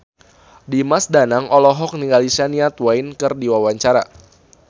Dimas Danang olohok ningali Shania Twain keur diwawancara